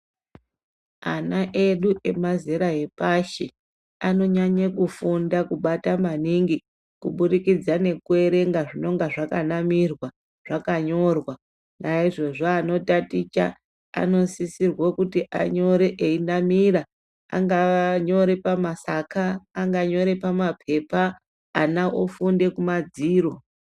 Ana edu emazera epashi ano nyanye kufunda kubata maningi ku budikidza neku erenga zvinonga zvaka namirwa zvaka nyorwa na izvozvo ano taticha ano sisirwe kuti anyore eyi namira angava anga nyore pa masaka anga nyore pa mapepa ana ofunde ku madziro.